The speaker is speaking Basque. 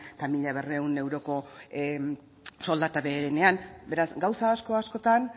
eta mila berrehun euroko soldata beherenean beraz gauza asko askotan